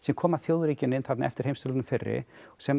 koma þjóðríkin inn þarna eftir heimsstyrjöldina fyrri sem